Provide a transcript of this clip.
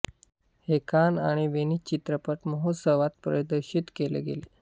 हे कान आणि वेनिस चित्रपट महोत्सवात प्रदर्शित केले गेले